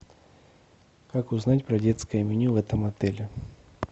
как узнать про детское меню в этом отеле